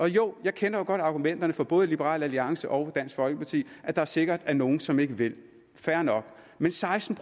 jo jeg kender godt argumenterne fra både liberal alliance og dansk folkeparti at der sikkert er nogle som ikke vil fair nok men seksten